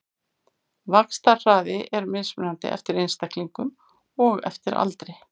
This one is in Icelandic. Vaxtarhraði er mismunandi eftir einstaklingum og eftir aldri.